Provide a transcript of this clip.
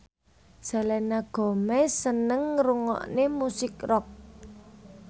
Selena Gomez seneng ngrungokne musik rock